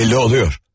Belli oluyor.